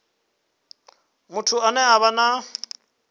muthu ane a vha na